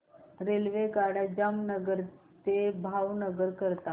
रेल्वेगाड्या जामनगर ते भावनगर करीता